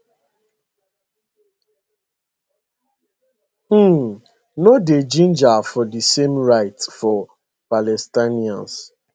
um no dey ginger for di same rights for palestinians